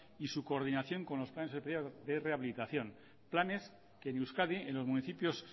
y su coordinación con los planes especiales de rehabilitación planes que en euskadi en los municipios